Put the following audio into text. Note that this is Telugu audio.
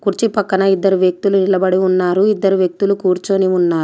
కుర్చీ పక్కన ఇద్దరు వ్యక్తులు నిలబడి ఉన్నారు ఇద్దరు వ్యక్తులు కూర్చొని ఉన్నారు.